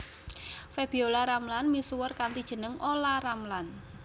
Febiola Ramlan misuwur kanthi jeneng Olla Ramlan